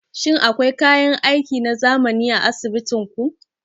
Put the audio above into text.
Shin akwai kayan aiki na zamani a asibitin ku?